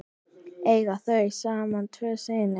Eiga þau saman tvo syni.